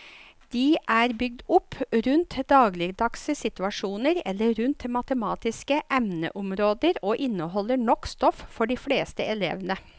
De er bygd opp rundt dagligdagse situasjoner eller rundt matematiske emneområder og inneholder nok stoff for de fleste elevene.